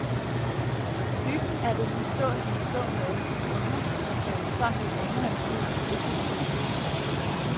Hyggen er det nu så som så med, for huset har stået tomt i længere tid, og det kan ses.